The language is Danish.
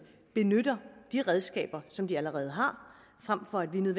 benytter de redskaber som de allerede har frem for at vi